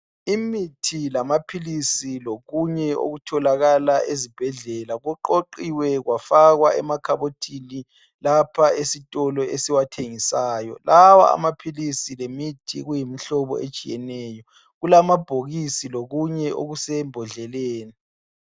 Imithi lamaphilisi lokunye okutholakala ezibhedlela kuqoqiwekwafakwa emakhabothini lapha esitolo esiwathengisayo lawa amaphilisi lemithi kuyimihlobo etshiyeneyo kulamabhokisi lokunye okusembodleleni.